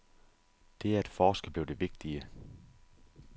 Det at forske blev det vigtige.